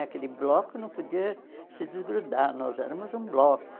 Aquele bloco não podia se desgrudar, nós éramos um bloco.